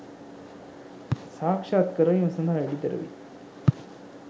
සාක්ෂාත් කරවීම සඳහා එඩිතරවී